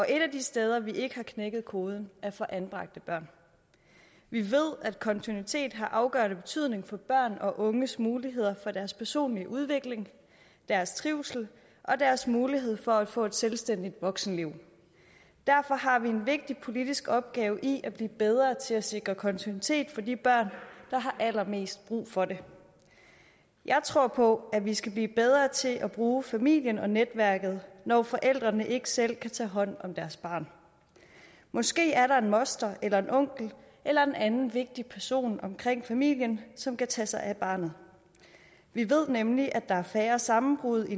et af de steder vi ikke har knækket koden er for anbragte børn vi ved at kontinuitet har afgørende betydning for børn og unges muligheder for deres personlige udvikling deres trivsel og deres mulighed for at få et selvstændigt voksenliv derfor har vi en vigtig politisk opgave i at blive bedre til at sikre kontinuitet for de børn der har allermest brug for det jeg tror på at vi skal blive bedre til at bruge familien og netværket når forældrene ikke selv kan tage hånd om deres barn måske er der en moster eller en onkel eller en anden vigtig person omkring familien som kan tage sig af barnet vi ved nemlig at der er færre sammenbrud